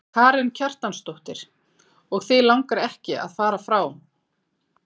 Karen Kjartansdóttir: Og þig langar ekki að fara frá?